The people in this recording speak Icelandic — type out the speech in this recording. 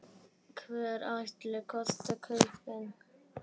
Hverjir ætli kosti kaupin?